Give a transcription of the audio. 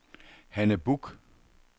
Hanne Buch